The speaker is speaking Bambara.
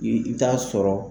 I t'a sɔrɔ.